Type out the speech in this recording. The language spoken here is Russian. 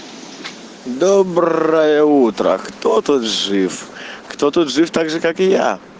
доброе утро кто тут жив кто тут жив также как и я